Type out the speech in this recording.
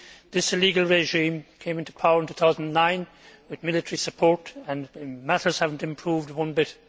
This illegal regime came into power in 2009 with military support and matters have not improved one bit.